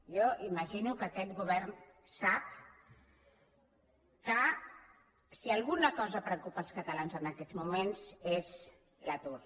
jo imagino que aquest govern sap que si alguna cosa preocupa els catalans en aquests moments és l’atur